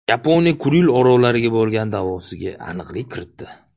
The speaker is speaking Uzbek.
Yaponiya Kuril orollariga bo‘lgan da’vosiga aniqlik kiritdi.